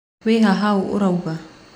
Wĩha hau ũrauga